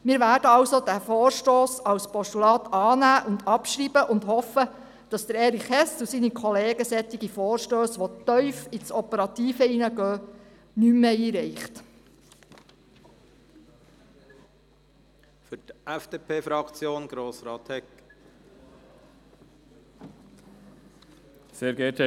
Wir werden diesen Vorstoss als Postulat annehmen und abschreiben, hoffen aber, dass Erich Hess und seine Kollegen solche Vorstösse, die tief ins Operative hineingehen, nicht mehr einreichen werden.